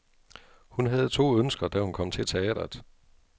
Hun havde to ønsker, da hun kom til teatret.